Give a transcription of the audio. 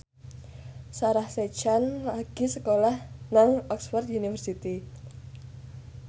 Sarah Sechan lagi sekolah nang Oxford university